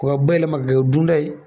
O ka bayɛlɛma ka kɛ dunta ye